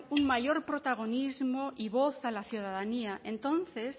un mayor protagonismo y voz a la ciudadanía entonces